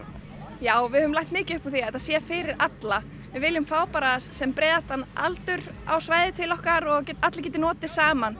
já við leggjum mikið upp úr því að þetta sé fyrir alla við viljum fá sem breiðastan aldur á svæðið til okkar og að allir geti notið saman